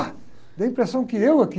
Deu a impressão que eu é que